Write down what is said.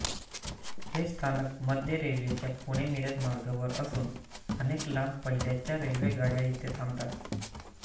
हे स्थानक मध्य रेल्वेच्या पुणेमिरज मार्गावर असून अनेक लांब पल्ल्याच्या रेल्वेगाड्या येथे थांबतात